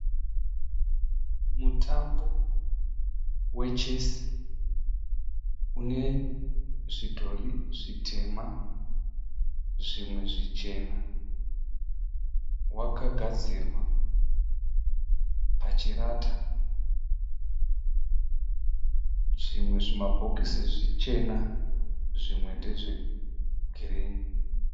Mutambo we chesi, une zvidhori zvitema zvimwe zvichena wakagadzirwa pachirata. Zvimwe zvimabhokisi zvichena zvimwe ndezve girini.